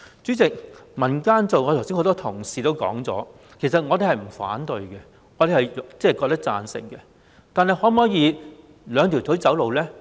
主席，剛才多位同事也曾提到，其實我們並不反對由民間做，我們是贊成的，但可否以兩條腿走路呢？